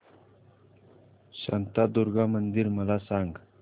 शांतादुर्गा मंदिर मला सांग